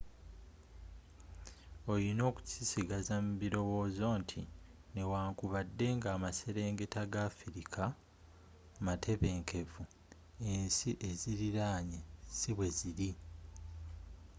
olina okukisigaza mu bilowozo nti newankubadde nga amaselengeta ga afirika matebenkevu ensi ezziriranye si bwezili